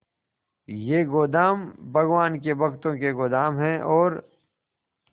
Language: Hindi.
ये गोदाम भगवान के भक्तों के गोदाम है और